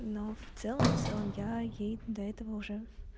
но в целом в целом я ей до этого уже